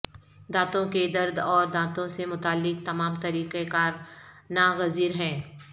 دانتوں کے درد اور دانتوں سے متعلق تمام طریقہ کار ناگزیر ہیں